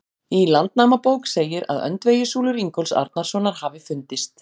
Í Landnámabók segir að öndvegissúlur Ingólfs Arnarsonar hafi fundist.